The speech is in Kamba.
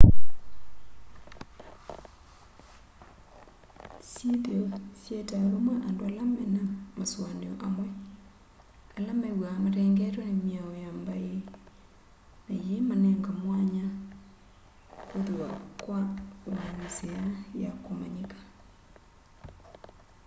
syithio siyeetaa vamwe andu ala me na masoania amwi ala mewaa matengetwe ni miao ya mbai na yii manenge mwanya kuthiwa wa nzia ya kumanyika